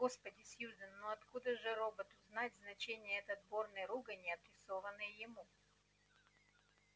господи сьюзен ну откуда же роботу знать значение этой отборной ругани адресованной ему